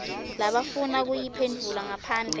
labafuna kuyiphendvula ngaphandle